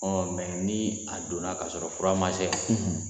mɛ ni a donna k'a sɔrɔ fura ma se yan.